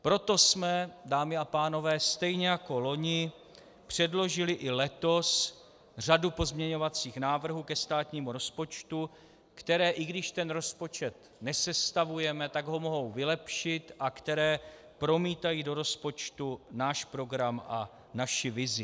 Proto jsme, dámy a pánové, stejně jako loni předložili i letos řadu pozměňovacích návrhů ke státnímu rozpočtu, které, i když ten rozpočet nesestavujeme, tak ho mohou vylepšit a které promítají do rozpočtu náš program a naši vizi.